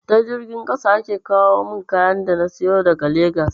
Ta jirgin ƙasa ake kawomin kayan da na sayo daga legas